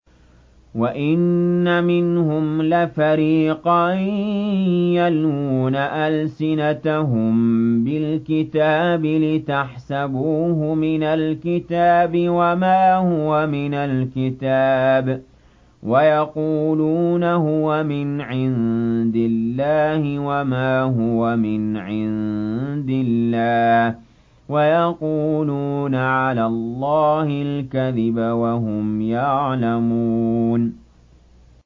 وَإِنَّ مِنْهُمْ لَفَرِيقًا يَلْوُونَ أَلْسِنَتَهُم بِالْكِتَابِ لِتَحْسَبُوهُ مِنَ الْكِتَابِ وَمَا هُوَ مِنَ الْكِتَابِ وَيَقُولُونَ هُوَ مِنْ عِندِ اللَّهِ وَمَا هُوَ مِنْ عِندِ اللَّهِ وَيَقُولُونَ عَلَى اللَّهِ الْكَذِبَ وَهُمْ يَعْلَمُونَ